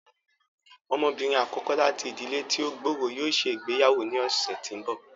Ọmọbinrin akọkọ láti ìdílé ti o gb'ọrọ yóò ṣe ìgbéyàwó ní ọsẹ tí n bọ.